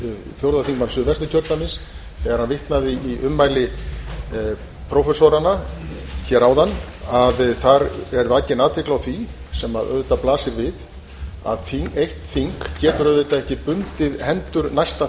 fjórða þingmanns suðvesturkjördæmis þegar hann vitnaði í ummæli prófessoranna áðan að þar er vakin athygli á því sem auðvitað blasir við að eitt þing getur auðvitað ekki bundið hendur næsta